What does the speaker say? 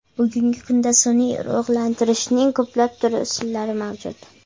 Bugungi kunda, sun’iy urug‘lantirishning ko‘plab turli usullari mavjud.